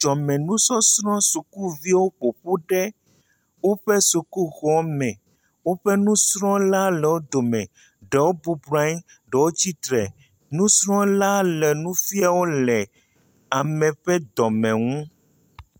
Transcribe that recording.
Dzɔdzɔme nusɔsrɔ̃ sukuviwo ƒoƒu ɖe woƒe sukuxɔme. Woƒe nusrɔ̃la le wo dome. Ɖewo bɔbɔnɔ anyi, ɖewo tsitre, nusrɔ̃la le nia wo le ame ƒe dɔme nu.